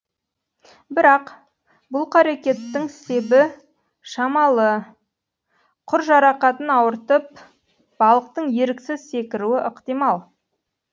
бірақ бұл қарекеттің себі шамалы құр жарақатын ауыртып балықтың еріксіз секіруі ықтимал